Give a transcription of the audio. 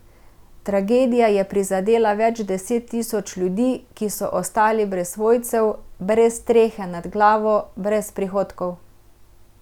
Tragedija je prizadela več deset tisoč ljudi, ki so ostali brez svojcev, brez strehe nad glavo, brez prihodkov.